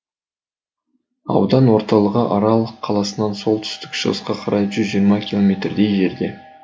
аудан орталығы арал қаласынан солтүстік шығысқа қарай жүз жиырма километрдей жерде